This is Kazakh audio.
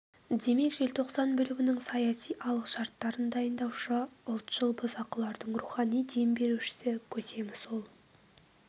демек желтоқсан бүлігінің саяси алғы шарттарын дайындаушы ұлтшыл бұзақылардың рухани дем берушісі көсемі сол